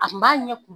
A kun b'a ɲɛ kun